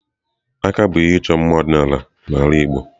Akà bụ ihe ịchọ mma ọdịnala n'ala igbo.